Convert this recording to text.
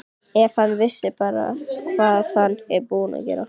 Ef hann vissi bara hvað hann er búinn að gera.